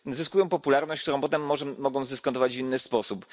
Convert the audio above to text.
Zyskują popularność, którą potem mogą zdyskontować w inny sposób.